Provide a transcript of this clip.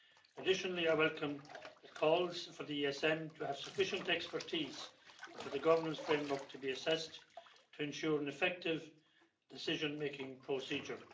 Additionally, I welcome the calls for the ESM to have sufficient expertise and for the governance framework to be assessed to ensure an effective decision making procedure.